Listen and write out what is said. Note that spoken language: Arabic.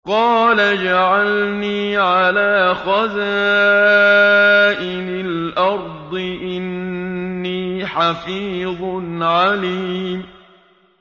قَالَ اجْعَلْنِي عَلَىٰ خَزَائِنِ الْأَرْضِ ۖ إِنِّي حَفِيظٌ عَلِيمٌ